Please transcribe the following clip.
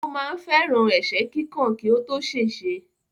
Ó ma ń fẹ́ràn ẹ̀sẹ́ kíkàn kí ó tó ṣèṣe.